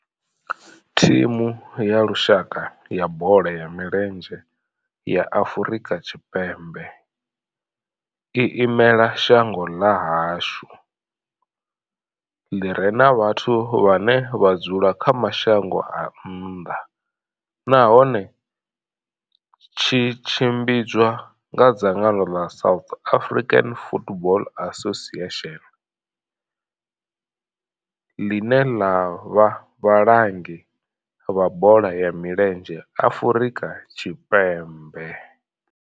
Thimu ya lushaka ya bola ya milenzhe ya Afrika Tshipembe i imela shango ḽa hashu ḽi re na vhathu vhane vha dzula kha mashango a nnḓa nahone tshi tshimbidzwa nga dzangano ḽa South African Football Association, ḽine ḽa vha vhalangi vha bola ya milenzhe Afrika Tshipembe.